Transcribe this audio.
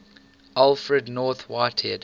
alfred north whitehead